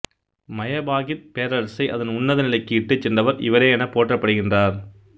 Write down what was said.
Majapahit பேரரசை அதன் உன்னத நிலைக்கு இட்டுச் சென்றவர் இவரே எனப் போற்றப்படுகின்றார்